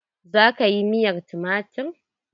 Za ka yi miyar tumatir?